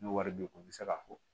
N'o wari be o be se ka fɔ